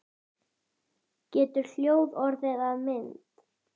Getur hljóð orðið að mynd?